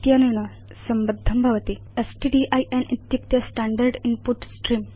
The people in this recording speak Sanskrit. इत्यनेन संबद्धं भवति स्ट्डिन् इत्युक्ते स्टैण्डर्ड् इन्पुट स्त्रेऽं